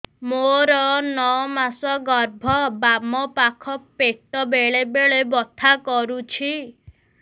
ମୋର ନଅ ମାସ ଗର୍ଭ ବାମ ପାଖ ପେଟ ବେଳେ ବେଳେ ବଥା କରୁଛି